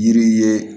Yiri ye